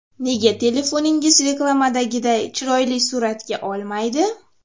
Nega telefoningiz reklamadagiday chiroyli suratga olmaydi?.